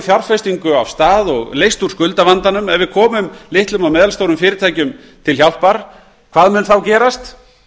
komið af stað og leyst úr skuldavandanum litlum og meðalstórum fyrirtækjum komið til hjálpar hvað mun þá gerast